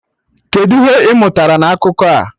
Kedụ ihe ị mụtara na akụkọ a?